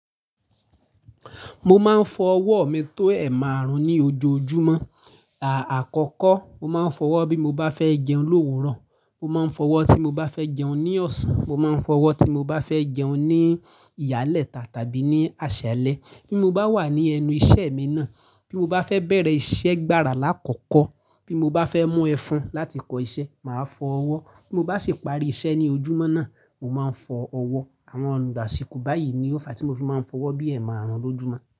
Mo máa ń fọ ọwọ́ mi tó ẹ̀ márùn-ún ní ojoojúmọ́. À-àkọ́kọ́, mo máa ń fọ ọwọ́ bí mo bá fẹ́ jẹun l'òwúrọ̀, mo máa ń fọ ọwọ́ tí mo bá fẹ́ jẹun ní ọ̀sán, mo máa ń fọ ọwọ́ tí mo bá fẹ́ jẹun ní ìyálẹ́ta tàbí ní àṣálẹ́. Bí mo bá wà ní ẹnu iṣẹ́ mi náà, bí mo bá fẹ́ bẹ̀rẹ̀ iṣẹ́ gbára lákọ̀kọ̀, bí mo bá fẹ́ mú ẹfun láti kọ iṣẹ́, màá fọ ọwọ́. Bí mo bá sì parí iṣẹ́ ní ojúmọ́ náà, mo máa ń fọ ọwọ́. Àwọn ọ̀nà àsìkò báyìí ni ó fa tí mo fi máa ń fọ ọwọ́ bí ẹ̀ márùn-ún lójúmọ́.